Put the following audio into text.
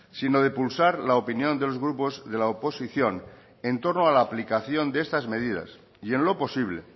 sino de pulsar la opinión de los grupos de la oposición en torno a la aplicación de estas medidas y en lo posible